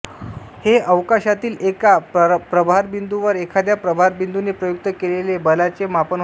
हे अवकाशातील एका प्रभारबिंदूवर एखाद्या प्रभारबिंदूने प्रयुक्त केलेले बलाचे मापन आहे